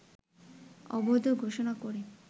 অবৈধ ঘোষণা করে